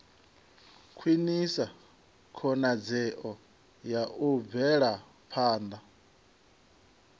khwinisa khonadzeo ya u bvelaphanda